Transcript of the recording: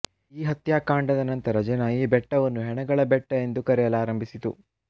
ಈ ಹತ್ಯಾಕಾಂಡದ ನಂತರ ಜನ ಈ ಬೆಟ್ಟವನ್ನು ಹೆಣಗಳ ಬೆಟ್ಟ ಎಂದು ಕರೆಯಲಾರಂಬಿಸಿತು